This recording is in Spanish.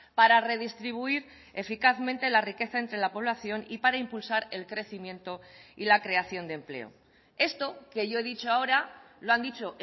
para redistribuir eficazmente la riqueza entre la población y para impulsar el crecimiento y la creación de empleo esto que yo he dicho ahora lo han dicho